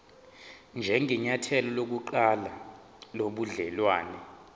njengenyathelo lokuqala lobudelwane